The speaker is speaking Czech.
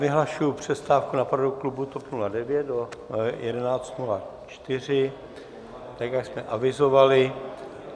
Vyhlašuji přestávku na poradu klubu TOP 09 do 11.04 , tak jak jsme avizovali.